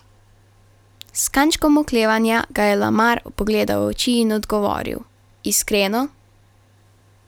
S kančkom oklevanja ga je Lamar pogledal v oči in odgovoril: 'Iskreno?